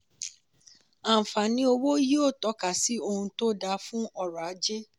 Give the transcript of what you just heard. àǹfààní owó yíò tọ́ka sí ohun tó dá fún ọrọ̀ ajé.